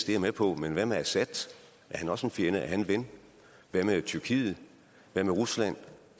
jeg med på men hvad med assad er han også en fjende eller er han en ven hvad med tyrkiet hvad med rusland